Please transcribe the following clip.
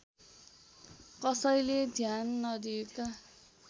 कसैले ध्यान नदिएका